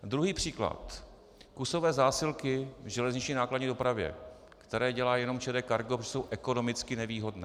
Druhý příklad: kusové zásilky v železniční nákladní dopravě, které dělá jenom ČD Cargo, protože jsou ekonomicky nevýhodné.